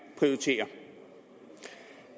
prioritere